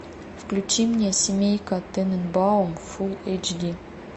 включи мне семейка тененбаум фул эйч ди